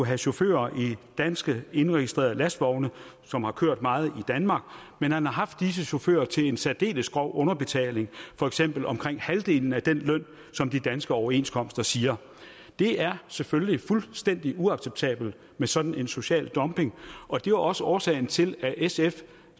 have chauffører i dansk indregistrerede lastvogne som har kørt meget i danmark men han har haft disse chauffører til en særdeles grov underbetaling for eksempel omkring halvdelen af den løn som de danske overenskomster siger det er selvfølgelig fuldstændig uacceptabelt med sådan en social dumping og det var også årsagen til at sf